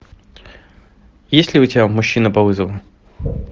есть ли у тебя мужчина по вызову